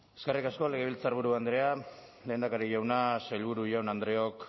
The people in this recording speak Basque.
eskerrik asko legebiltzarburu andrea lehendakari jauna sailburu jaun andreok